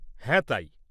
হ্যাঁ, তাই।